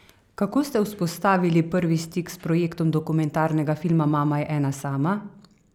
Kako ste vzpostavili prvi prvi stik s projektom dokumentarnega filma Mama je ena sama?